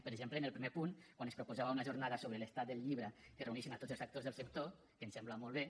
per exemple en el primer punt quan es proposava una jornada sobre l’estat del llibre que reuneixi tots els actors del sector que ens sembla molt bé